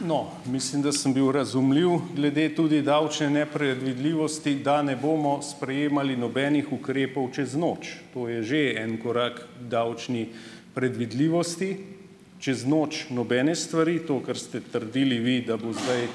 No, mislim, da sem bil razumljiv glede tudi davčne nepredvidljivosti, da ne bomo sprejemali nobenih ukrepov čez noč, to je že en korak k davčni predvidljivosti, čez noč nobene stvari. To, kar ste trdili vi, da bo zdaj,